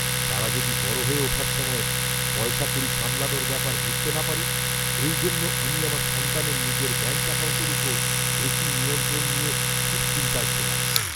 তারা যদি বড় হয়ে ওঠার সময় পয়সাকড়ি সামলানোর ব্যাপার বুঝতে না পারে, এই জন্য আমি আমার সন্তানের নিজের ব্যাঙ্ক অ্যাকাউন্টের উপর বেশী নিয়ন্ত্রণ নিয়ে খুব চিন্তায় ছিলাম।